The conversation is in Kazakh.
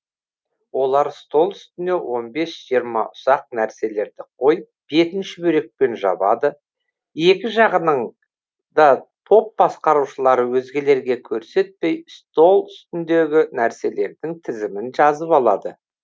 олар стол үстіне он бес жиырма ұсақ нәрселерді қойып бетін шүберекпен жабады екі жағының да топ басқарушылары өзгелерге көрсетпей стол үстіндегі нәрселердің тізімін жазып алады